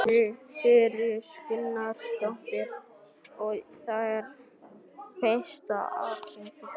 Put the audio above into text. Sigríður Guðlaugsdóttir: Og er það fyrsta aðgerðin þín?